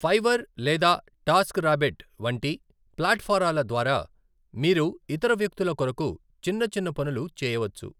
Fiverr లేదా TaskRabbit వంటి ప్లాట్ ఫారాల ద్వారా, మీరు ఇతర వ్యక్తుల కొరకు చిన్న చిన్న పనులు చేయవచ్చు.